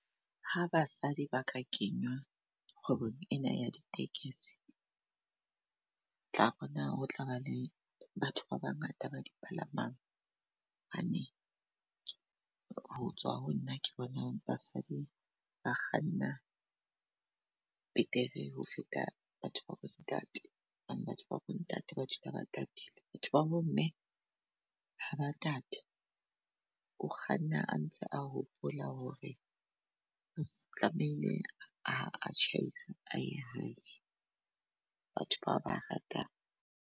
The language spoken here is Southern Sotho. Ha basadi ba ka kenywa kgwebong ena ya ditekesi, otla bona ho tlaba le batho ba ba ngata ba di palamang. Hane hotswa ho nna, ke bona basadi ba kganna betere ho feta batho babo ntate. Hobane batho babo ntate ke batho ba dula ba tatile. Batho babo mme ha ba tate o kganna a ntse a hopola hore re tlamehile a tjhaise aye hae, batho batho ba ratang.